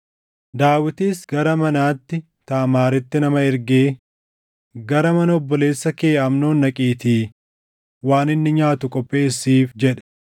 Daawitis gara manaatti Taamaaritti nama ergee, “Gara mana obboleessa kee Amnoon dhaqiitii waan inni nyaatu qopheessiif” jedhe.